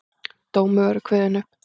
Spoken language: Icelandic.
Dómur verður upp kveðinn.